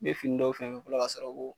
I be fini dɔw fɛnsɛ fɔlɔ ka sɔrɔ ko